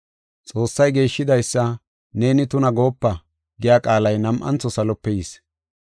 “ ‘Xoossay geeshshidaysa neeni tuna goopa’ giya qaalay nam7antho salope yis.